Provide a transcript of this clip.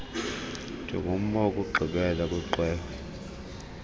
njengomba wokugqibela kwiqwewe